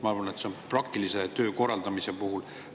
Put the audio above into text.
Ma arvan, et seda on praktilise töö korraldamise puhul vaja teada.